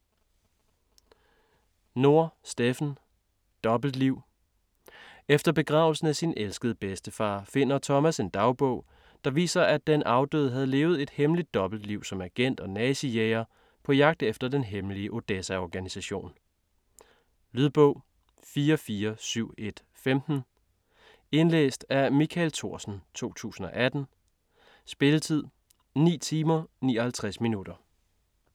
Nohr, Steffen: Dobbeltliv Efter begravelsen af sin elskede bedstefar finder Thomas en dagbog, der viser, at den afdøde havde levet et hemmeligt dobbeltliv som agent og nazijæger på jagt efter den hemmelige Odessa-organisation. Lydbog 44715 Indlæst af Michael Thorsen, 2018. Spilletid: 9 timer, 59 minutter.